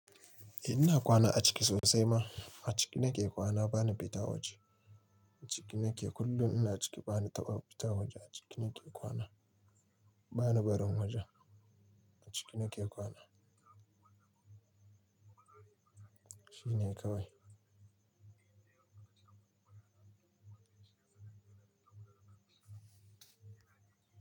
Eh ina kwana a ciki sosai ma. A ciki nake kwana bani fita waje. A ciki nake kullum ina ciki bani taɓa fita waje a ciki nake kwana. Bani barin waje. A ciki nake kwa shine kawai.